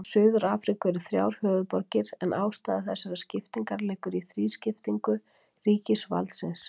Í Suður-Afríku eru þrjár höfuðborgir en ástæða þessarar skiptingar liggur í þrískiptingu ríkisvaldsins.